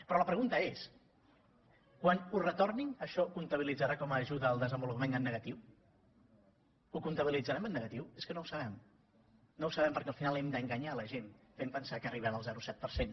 però la pregunta és quan ho retornin això comptabilitzarà com a ajuda al desenvolupament en negatiu ho comptabilitzarem en negatiu és que no ho sabem no ho sabem perquè al final hem d’enganyar la gent que arribem al zero coma set per cent